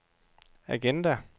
agenda